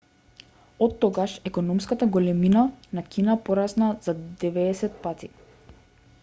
оттогаш економската големина на кина порасна за 90 пати